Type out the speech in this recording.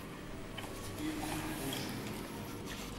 стив бушеми